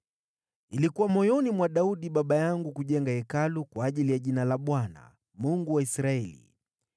“Ilikuwa moyoni mwa Daudi baba yangu kujenga Hekalu kwa ajili ya Jina la Bwana , Mungu wa Israeli.